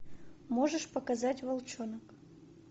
можешь показать волчонок